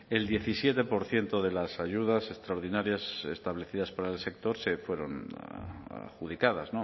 el diecisiete por ciento de las ayudas extraordinarias establecidas para el sector fueron adjudicadas